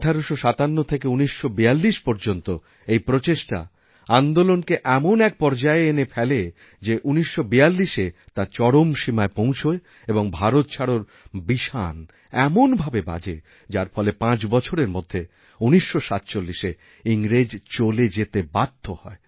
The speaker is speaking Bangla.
১৮৫৭ থেকে ১৯৪২ পর্যন্ত এই প্রচেষ্টাআন্দোলনকে এমন এক পর্যায়ে এনে ফেলে যে ১৯৪২এ তা চরম সীমায় পৌঁছায় এবং ভারতছাড়োর বিষাণ এমনভাবে বাজে যার ফলে পাঁচ বছরের মধ্যে ১৯৪৭এ ইংরেজ চলে যেতেবাধ্য হয়